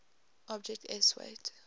object s weight